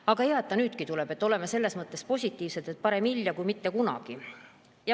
Aga hea, et see nüüdki tuleb, oleme selles mõttes positiivsed, et parem hilja kui mitte kunagi.